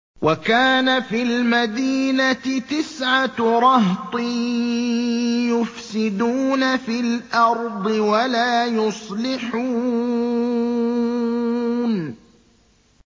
وَكَانَ فِي الْمَدِينَةِ تِسْعَةُ رَهْطٍ يُفْسِدُونَ فِي الْأَرْضِ وَلَا يُصْلِحُونَ